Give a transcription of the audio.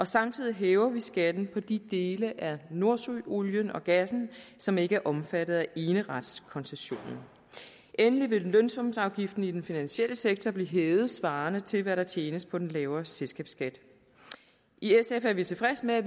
samtidig hæver vi skatten på de dele af nordsøolien og gassen som ikke er omfattet af eneretskoncessionen endelig vil lønsumsafgiften i den finansielle sektor blive hævet svarende til hvad der tjenes på den lavere selskabsskat i sf er vi tilfredse med at